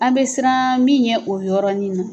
An bɛ siran min ɲɛ o yɔrɔnin na.